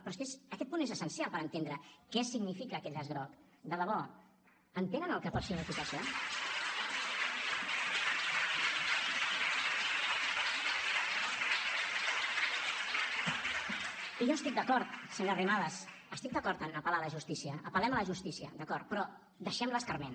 però és que aquest punt és essencial per entendre què significa aquest llaç groc de debò entenen el que pot significar això i jo estic d’acord senyora arrimadas estic d’acord en apel·lar a la justícia apel·lem a la justícia d’acord però deixem l’escarment